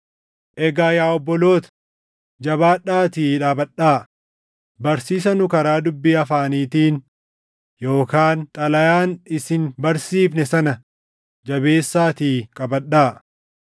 Egaa yaa obboloota, jabaadhaatii dhaabadhaa; barsiisa nu karaa dubbii afaaniitiin yookaan xalayaan isin barsiifne sana jabeessaatii qabadhaa.